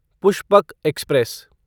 Pushpak express